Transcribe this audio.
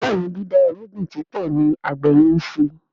Béèni dida irúgbìn púpọ ní àgbè yen nṣe.